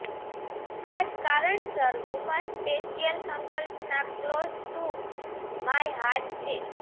આ જ કારણસર વુમન્સ સ્પેશિયલ સંકલ્પના ક્લોઝ ટુ માય હાર્ટ છે